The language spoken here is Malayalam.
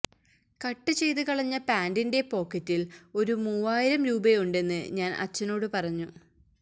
കട്ട് ചെയ്ത് കളഞ്ഞ പാന്റിന്റെ പോക്കറ്റിൽ ഒരു മൂവായിരം രൂപയുണ്ടെന്ന് ഞാൻ അച്ചനോട് പറഞ്ഞു